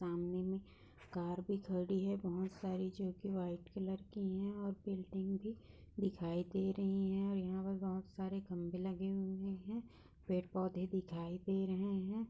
सामने में कार भी खड़ी है बहुत सारी जोकि व्हाइट कलर की हैं और बिल्डिंग भी दिखाई दे रही हैं और यहाँ पर बहुत सारे खंबे लगे हुए हैं पेड़-पौधे दिखाई दे रहे हैं।